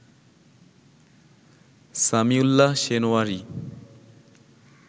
Samiullah Shinwari